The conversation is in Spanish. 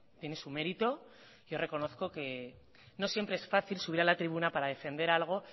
tiene su mérito yo reconozco que no siempre es fácil subir a la tribuna para defender algo